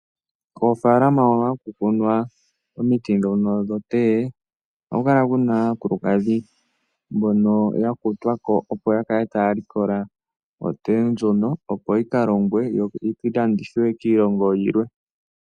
Koofalama hono haku kunwa omiti ndhono dhokothiwa ohaku kala kuna aakulukadhi mbono ya kutwako opo ya kale taya likola okothiwa ndjono opo yika longwe yo yi landithwe kiilongo yilwe.